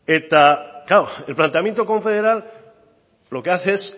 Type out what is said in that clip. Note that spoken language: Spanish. eta klaro el planteamiento confederal lo que hace es